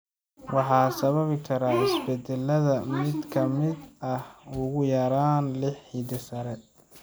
Waxa sababi kara isbeddellada mid ka mid ah ugu yaraan lix hidde-side.